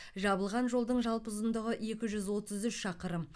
жабылған жолдың жалпы ұзындығы екі жүз отыз үш шақырым